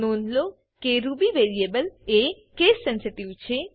નોંધ લો કે રૂબી વેરીએબલ એ કેસ સેન્સિટિવ